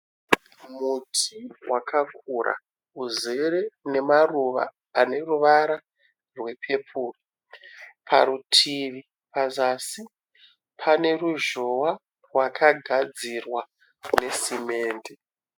Muti wakakura uzere nemaruva ane ruvara rwepepuru, parutivi pazasi pane ruzhowa rwakagadzirwa nesimende.